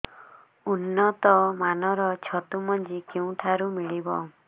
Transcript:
ଉନ୍ନତ ମାନର ଛତୁ ମଞ୍ଜି କେଉଁ ଠାରୁ ମିଳିବ